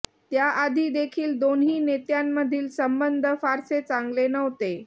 त्याआधी देखील दोन्ही नेत्यांमधील संबंध फारसे चांगले नव्हते